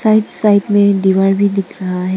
Side में दीवार भी दिख रहा है।